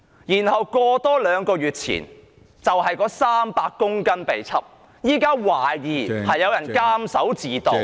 原來在兩個月前，有300公斤冰毒被檢獲，現在懷疑有人監守自盜......